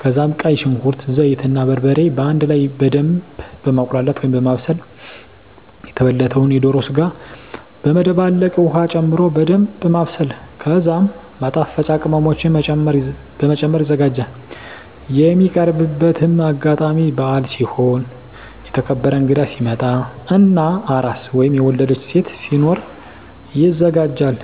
ከዛም ቀይ ሽንኩርት፣ ዘይት እና በርበሬ በአንድ ላይ በደምብ በማቁላላት(በማብሰል) የተበለተዉን የዶሮ ስጋ በመደባለቅ ዉሀ ጨምሮ በደንምብ ማብሰል ከዛም ማጣፈጫ ቅመሞችን በመጨመር ይዘጋጃል። የሚቀርብበትም አጋጣሚ በአል ሲሆን፣ የተከበረ እንግዳ ሲመጣ እና አራስ (የወለደች ሴት) ሲኖር ይዘጋጃል።